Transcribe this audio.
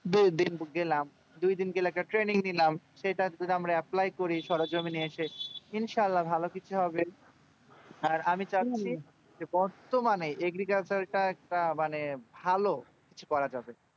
যেইদিন গেলাম যেই দিন আমি trening নিলাম সেটাই আমরা applay করি সরঞ্জাম নিয়ে ইন্শাআলহ্হা ভালো কিছু হবে বর্তমানে agriculture তা মানে ভালো কিছু করা যাবে